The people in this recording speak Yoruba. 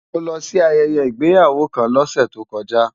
Mo lọ sí ayẹyẹ ìgbéyàwó kan lọ́sẹ̀ tó kọjá.